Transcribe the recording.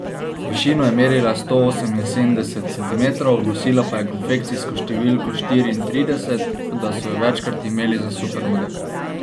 V višino je merila sto oseminsedemdeset centimetrov, nosila pa je konfekcijsko številko štiriintrideset, da so jo večkrat imeli za supermodel.